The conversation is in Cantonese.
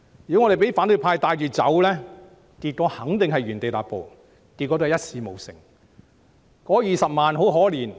如果我們讓反對派牽着走，結果肯定是原地踏步，一事無成。